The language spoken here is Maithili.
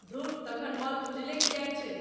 धुर! तखन मॉल खुजले किए छै?